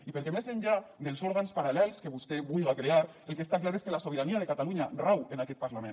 i perquè més enllà dels òrgans paral·lels que vostè vullga crear el que està clar és que la sobirania de catalunya rau en aquest parlament